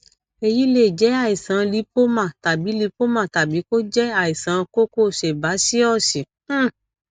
èyí lè jẹ àìsàn lípómà tàbí lípómà tàbí kó jẹ àìsàn kókó sẹbásíọọsì um